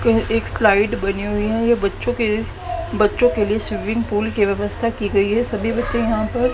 एक स्लाइड बनी हुई है ये बच्चों के बच्चों के लिए स्विमिंग पूल की व्यवस्था की गई है सभी बच्चे यहां पर--